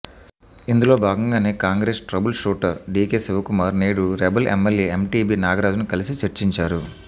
ఇందులో భాగంగానే Congress trouble shooter DK Shivakumar నేడు రెబల్ ఎమ్మెల్యే ఎంటీబీ నాగరాజ్ను కలిసి చర్చించారు